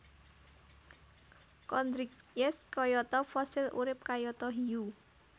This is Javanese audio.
Chondrichthyes kayata Fossil urip kayata Hiu